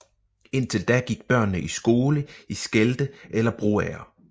Indtil da gik børnene i skole i Skelde eller Broager